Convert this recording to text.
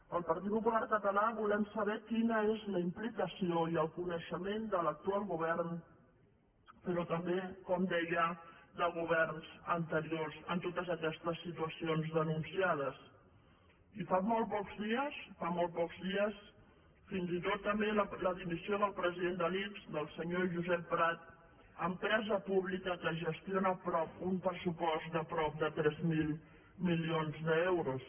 el partit popular català volem saber quina és la implicació i el coneixement de l’actual govern però també com deia de governs anteriors en totes aquestes situacions denunciades i fa molt pocs dies fa molt pocs dies fins i tot també la dimissió del president de l’ics del senyor josep prat empresa pública que gestiona un pressupost de prop de tres mil milions d’euros